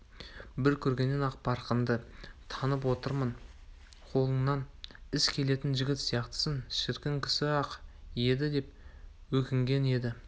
бір көргеннен-ақ парқыңды танып отырмын қолыңнан іс келетін жігіт сияқтысың шіркін кісі-ақ еді деп өкінген еді